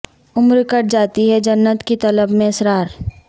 عمر کٹ جاتی ہے جنت کی طلب میں اسرار